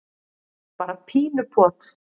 bara pínu pot.